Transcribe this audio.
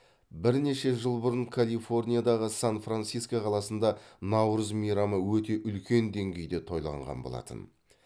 бірнеше жыл бұрын калифорниядағы сан франциско қаласында наурыз мейрамы өте үлкен деңгейде тойланған болатын